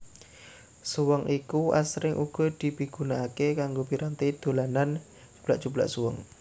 Suweng iki asring uga dipigunakaké kanggo piranti dolanan cublak cublak suweng